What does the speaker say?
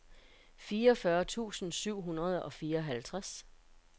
fireogfyrre tusind syv hundrede og fireoghalvtreds